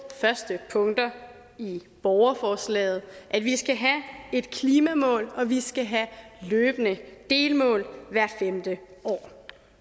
første punkter i borgerforslaget at vi skal have et klimamål og at vi skal have løbende delmål hvert femte år